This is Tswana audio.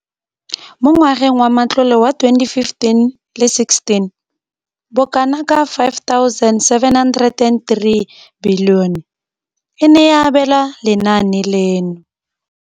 Mo ngwageng wa matlole wa 2015,16, bokanaka R5 703 bilione e ne ya abelwa lenaane leno.